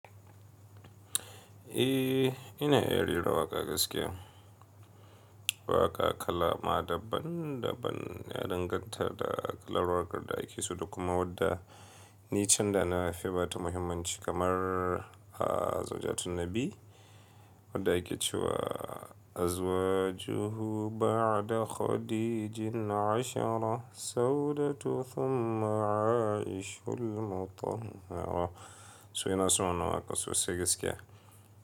Eh, ina iya rera waƙa gaskiya. Waƙa kalama daban daban ya danganta da kalar wakar da ake so da kuma wadda nican da na fi bata muhimmanci kamar a zawjatun Nabi wadda ake cewa "Azwajuhu ba'da Khadijin ashara Sawdatu thumma A'ishul motammara". To ina son wannan waƙar sosai gaskiya.